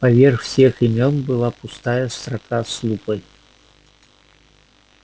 поверх всех имён была пустая строка с лупой